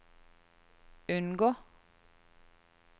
unngå